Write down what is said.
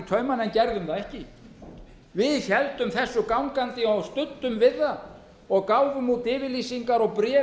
taumana en gerðum það ekki við héldum þessu gangandi og studdum við það gáfum út yfirlýsingar og bréf um að þetta